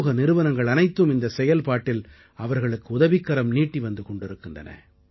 சமூக நிறுவனங்கள் அனைத்தும் இந்தச் செயல்பாட்டில் அவர்களுக்கு உதவிக்கரம் நீட்டி வந்து கொண்டிருக்கின்றன